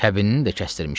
Kəbinini də kəsdirmişəm.